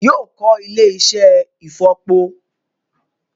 Yóò kọ́ ilé-iṣẹ́ ìfọ̀po